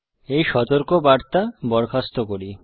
এই সতর্কবার্তা বরখাস্ত করি